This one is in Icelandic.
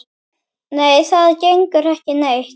Nei, það gengur ekki neitt.